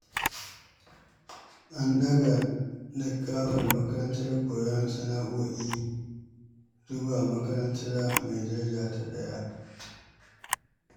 An ɗaga likkafar makarantar koyon sana'o'i zuwa makaranta mai daraja ta 1.